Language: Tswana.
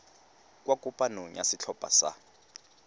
kwa kopanong ya setlhopha sa